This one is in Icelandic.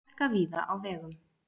Hálka víða á vegum